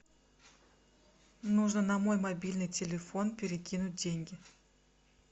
нужно на мой мобильный телефон перекинуть деньги